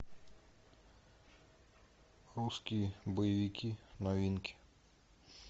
русские боевики новинки